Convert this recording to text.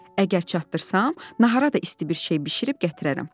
“Əgər çatdırsam, nahara da isti bir şey bişirib gətirərəm.”